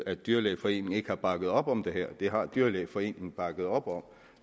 at dyrlægeforeningen ikke har bakket op om det her det har dyrlægeforeningen bakket op om